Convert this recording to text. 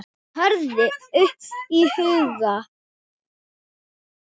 tröðin upp í hugann.